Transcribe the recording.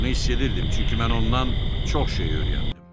Bunu hiss edirdim, çünki mən ondan çox şey öyrəndim.